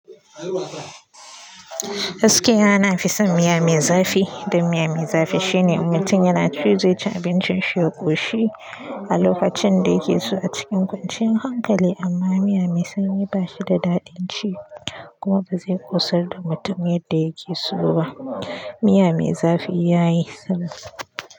Gaskiya, na fi son miya mai zafi, da miya mai zafi shi ne mutum yana ci zai ci abincinshi ya ƙoshi a lokacin da ya ke so a cikin kwanciyan hankali, amma miya mai sanyi ba shi da daɗin ci, kuma ba zai ƙosar da mutum yadda ya ke so ba miya mai zafi ya yi salo.